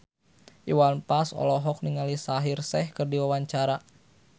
Iwan Fals olohok ningali Shaheer Sheikh keur diwawancara